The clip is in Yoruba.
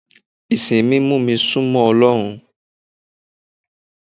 Ìsìn mi mú mi sún mọ́ Ọlọ́run.